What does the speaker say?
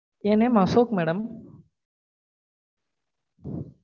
N name Ashok madam